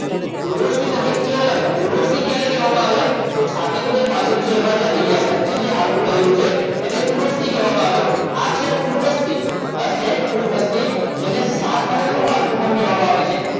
ઉર્વષ્ટિ નથી એ અલગ ઉર્વષ્ટિ ક્યારે કહેવામાં આવે તો છાતીનું જે પાંજરું છે એમાં જે અહીંયા વચ્ચે જે હાડકું રહેલું છે એને ઉર્વષ્ટિ કહેવામાં આવે આ છે ઉર્વસ્થિ આ છે ઉર્વસ્થિ જેને સાથળનું હાડકું પણ કહેવામાં આવે છે